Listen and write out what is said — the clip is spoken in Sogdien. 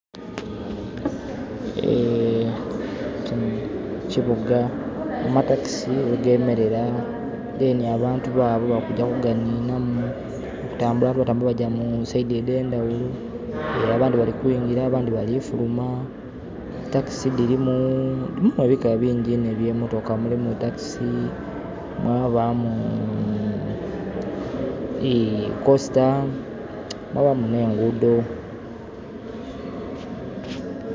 Ekibuga amatakisi ghegemerera, dheni abantu baabo balikugya ku ganhinamu batambula nga bagya mu saidhi edhendhaghulo, abandhi bali kuigiri abandhi bali kufuluma. Takisi dhirimu mulimu ebika bingi inho ebyemotoka. Mulimu takisi, mwabaamu dhi kosita mwabaamu nhenguudho.